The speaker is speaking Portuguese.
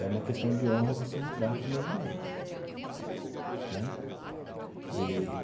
É uma questão de honra você entrar para o movimento né.